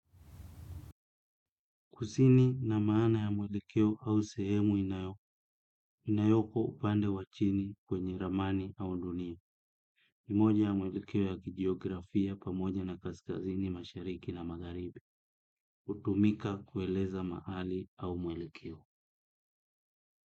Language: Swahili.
Kusini ina maana ya mwelekeo au sehemu inayoko upande wa chini kwenye ramani au dunia. Ni moja ya muelekeo ya kijiografia pamoja na kaskazini mashariki na magharibi. Hutumika kueleza mahali au mwelekeo.